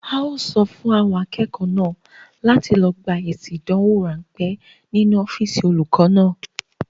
A ó sọ fún àwọn akẹ́kọ̀ọ́ náà láti lọ gba èsì ìdánwò ránpẹ́ nínú ọ́físì olùkọ náà.